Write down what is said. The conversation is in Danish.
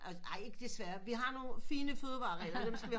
Ej ikke desværre vi har nogle finde fødevarerregler dem skal vi